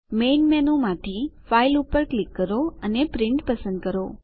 main મેનુમાંથી file ઉપર click કરો અને પ્રિન્ટ પસંદ કરો